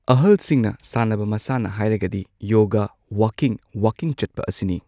ꯑꯍꯜꯁꯤꯡꯅ ꯁꯥꯟꯅꯕ ꯃꯁꯥꯟꯅ ꯍꯥꯏꯔꯒꯗꯤ ꯌꯣꯒꯥ ꯋꯥꯀꯤꯡ ꯋꯥꯀꯤꯡ ꯆꯠꯄ ꯑꯁꯤꯅꯤ꯫